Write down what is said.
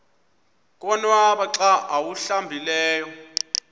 konwaba xa awuhlambileyo